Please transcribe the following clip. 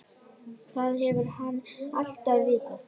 Það hefur hann alltaf vitað.